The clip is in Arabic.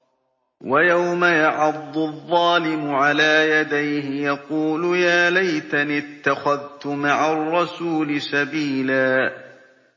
وَيَوْمَ يَعَضُّ الظَّالِمُ عَلَىٰ يَدَيْهِ يَقُولُ يَا لَيْتَنِي اتَّخَذْتُ مَعَ الرَّسُولِ سَبِيلًا